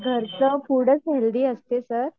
घरचं फूडचं हेल्थी असते सर